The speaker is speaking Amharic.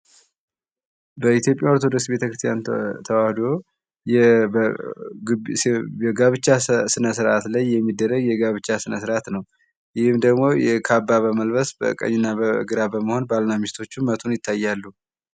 በኢትዮጵያ ኦርቶዶክስ ቤተክርስቲያን ተዋህዶ የጋብቻ ስነስርዓት ላይ የሚደረግ የጋብቻ ስነስርዓት ነው። ይህም ደግሞ ካባ በመልበስ በቀኝና በግራ በመሆን ባልና ሚስቶቹ መቱን ይታያሉ።